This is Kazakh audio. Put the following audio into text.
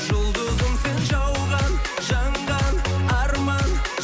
жұлдызым сен жауған жанған арман